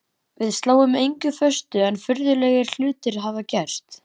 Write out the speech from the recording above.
Við sláum engu föstu en furðulegri hlutir hafa gerst.